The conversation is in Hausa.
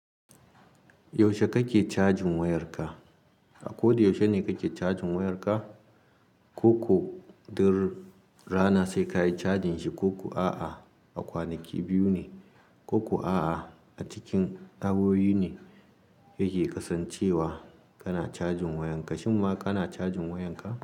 Yaushe kake cajin wayarka? A ko da yaushe ne kake cajin wayarka? Ko ku, duk rana sai kayi cajin shi, ko ku a'a, akwanaki biyu ne, ko ku a'a a cikin awowi ne yake kasancewa kana cajin wayanka. Shin ma kana cajin wayanka?